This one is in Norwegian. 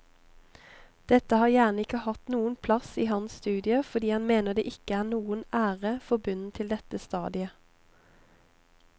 Dette har gjerne ikke hatt noen plass i hans studie fordi han mener det ikke er noen ære forbundet til dette stadiet.